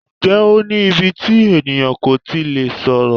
Ǹjẹ́ o ní íbí tí ènìyàn kò tí lè sọ̀rọ̀?